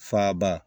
Fa ba